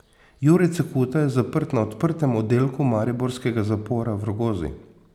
Jure Cekuta je zaprt na odprtem oddelku mariborskega zapora v Rogozi.